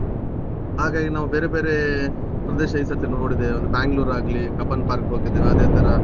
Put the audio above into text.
ಹಾಗಾಗಿ ನಾವು ಬೇರೆ ಬೇರೆ ಪ್ರದೇಶ ಈ ಸರ್ತಿ ನೋಡಿದೇವೆ ಒಂದು ಬ್ಯಾಂಗಲೋರ್ ಆಗ್ಲಿ, ಕಬ್ಬನ್ park ಹೋಗಿದ್ದೇವೆ ಅದೇ ತರ